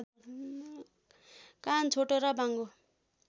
कान छोटो र बाङ्गो